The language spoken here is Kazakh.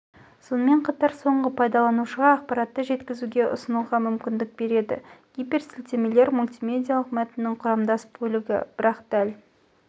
сонымен қатар соңғы пайдаланшыға ақпаатты жеткізге ұсынға мүмкіндік бееді гиперсілтемелер мультимедиалық мәтіннің құрамдас бөлігі бірақ дәл